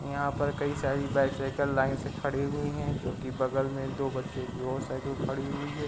यहाँ पर कई सारी बाईसाइकल लाईन से खड़ी हुई हैं जो कि बगल में दो बच्चों की और साइकिल खड़ी हुई हैं।